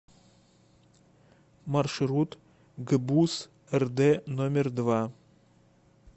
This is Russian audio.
маршрут гбуз рд номер два